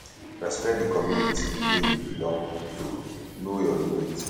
respect di community wey you belong to know your limit